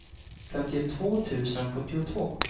femtiotvå tusen sjuttiotvå